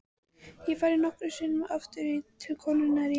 Ég hef farið nokkrum sinnum aftur til konunnar í